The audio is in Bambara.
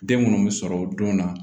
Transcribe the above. Den munnu be sɔrɔ o don na